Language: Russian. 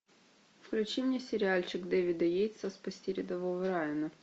включи мне сериальчик дэвида йейтса спасти рядового райана